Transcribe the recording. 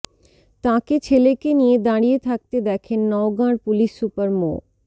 তাঁকে ছেলেকে নিয়ে দাঁড়িয়ে থাকতে দেখেন নওগাঁর পুলিশ সুপার মো